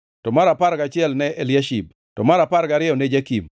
mar apar gachiel ne Eliashib, to mar apar gariyo ne Jakim,